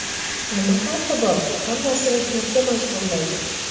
Nima farqi bor, hammasi mehnatga majburlaydi.